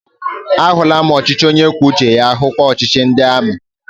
A hụla m ọchịchị onye kwuo uche ya, hukwa ọchịchị ndị amị